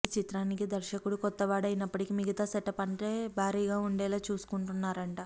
ఈ చిత్రానికి దర్శకుడు కొత్తవాడు అయినప్పటికీ మిగతా సెటప్ అంటే భారీగా ఉండేలా చూసుకుంటున్నారట